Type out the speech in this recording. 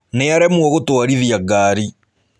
Nĩaremwo gũtwarithia ngari.